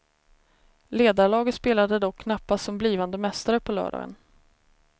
Ledarlaget spelade dock knappast som blivande mästare på lördagen.